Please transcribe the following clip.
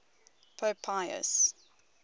pope pius